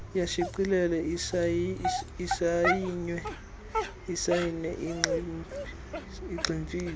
iyashicilelwa isayinwe igximfizwe